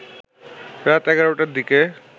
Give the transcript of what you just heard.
রাত ১১ টার দিকে